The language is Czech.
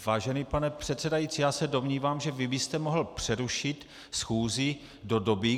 Vážený pane předsedající, já se domnívám, že vy byste mohl přerušit schůzi do doby.